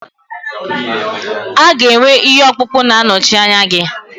A ga-enwe ihe ọkpụkpụ na-anọchi anya gị.